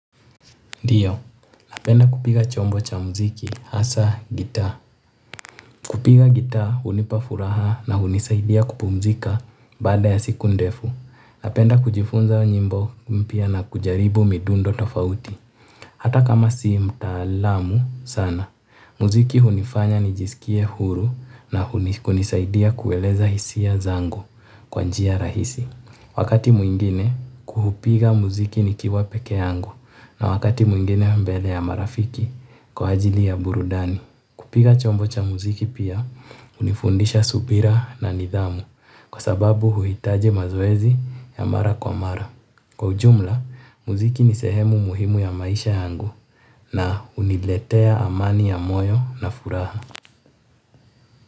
Ndiyo, napenda kupiga chombo cha mziki hasa gita. Kupiga gita hunipa furaha na hunisaidia kupumzika baada ya siku ndefu. Napenda kujifunza nyimbo mpya na kujaribu midundo tofauti. Hata kama si mtaalamu sana mziki hunifanya nijiskie huru na kunisaidia kueleza hisia zangu kwa njia rahisi wakati mwingine hupiga mziki nikiwa peke yangu na wakati mwingine mbele ya marafiki kwa ajili ya burudani. Kupiga chombo cha muziki pia, hunifundisha subira na nidhamu kwa sababu huitaji mazoezi ya mara kwa mara. Kwa ujumla, muziki ni sehemu muhimu ya maisha yangu na huniletea amani ya moyo na furaha.